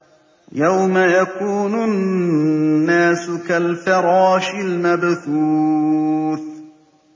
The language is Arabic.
يَوْمَ يَكُونُ النَّاسُ كَالْفَرَاشِ الْمَبْثُوثِ